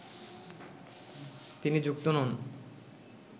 তিনি যুক্ত নন